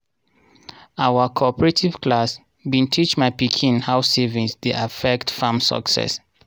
our cooperative class bin teach my pikin how saving dey affect farm success.